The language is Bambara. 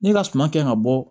Ne ka suma kɛ ka bɔ